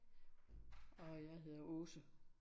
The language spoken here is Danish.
Og jeg hedder Aase